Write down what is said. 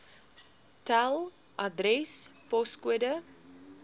tel adres poskode